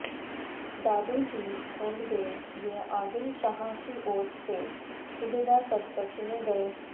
दादोजी कोंडदेव ये आदिलशहा की ओर से सुभेदार पद पर चुने गए